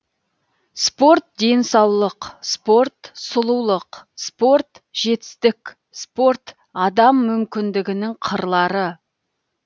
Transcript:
спорт денсаулық спорт сұлулық спорт жетістік спорт адам мүмкіндігінің қырлары